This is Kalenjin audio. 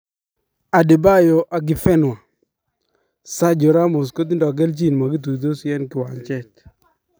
Adebayo Akinfenwa :Sergio Ramos kotindoo keljin makituitosi en kiwanjet .